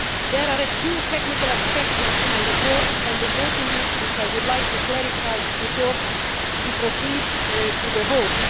There are a few technical aspects of my report and a voting list which I would like to clarify before we proceed to the vote.